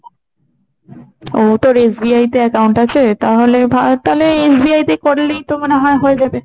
ও তোর SBI তে account আছে? তাহলে ভালো, তাহলে SBI তে করলেই তো মনে হয় হয়ে যাবে।